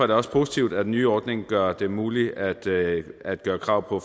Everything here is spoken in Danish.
det også positivt at den nye ordning gør det muligt at at gøre krav på